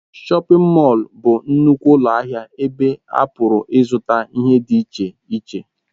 Shọpin Mọll bụ nnukwu ụlọ ahịa ebe a pụrụ ịzụta ihe dị iche iche.